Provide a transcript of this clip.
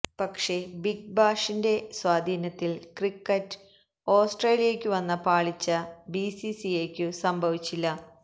പക്ഷേ ബിഗ് ബാഷിന്റെ സ്വാധീനത്തിൽ ക്രിക്കറ്റ് ഓസ്ട്രേലിയയ്ക്കു വന്ന പാളിച്ച ബിസിസിഐക്കു സംഭവിച്ചില്ല